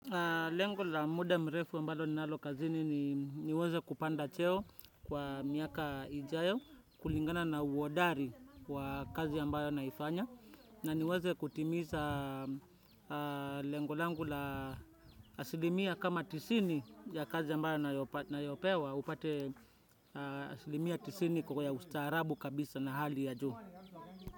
Lengu la muda mrefu ambalo ninalokazini ni niweze kupanda cheo kwa miaka ijayo, kulingana na uodari wa kazi ambayo naifanya. Na niweze kutimiza lengu langu la asilimia kama tisini ya kazi ambayo nayopewa, upate asilimia tisini kukoya ustaarabu kabisa na hali ya juu.